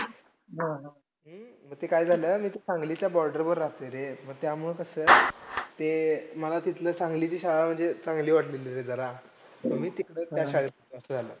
MB MBMD च्या साह्याने supply करण्यात आली आणि ही जर आत्ता दोनहजार आठ नऊ च्या कालावधीत आली नाहीतर पहिला इकडे दहा घरान मध्ये एक नळ अशी सुविधा होती.